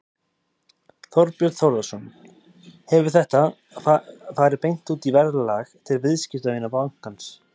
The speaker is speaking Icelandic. Þorbjörn Þórðarson: Hefur þetta farið beint út í verðlag til viðskiptavina bankans?